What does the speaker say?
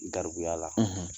Garibuya la